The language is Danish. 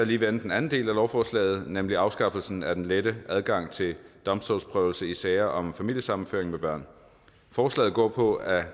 lige vende den anden del af lovforslaget nemlig afskaffelsen af den lette adgang til domstolsprøvelse i sager om familiesammenføring med børn forslaget går på at